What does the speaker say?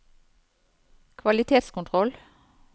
kvalitetskontroll